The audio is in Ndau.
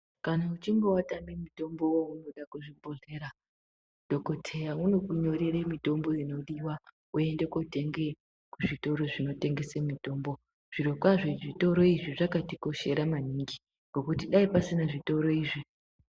Kana uchinge watame mutombo waunoda kuzvibhodhlera, dhokodheya unokunyorere mitombo inodiwa woende kotenge kuzvitoro zvinotengese mitombo. Zvirokwazvo zvitoro izvi zvakatikoshera maningi, ngokuti dai pasina zvitoro izvi.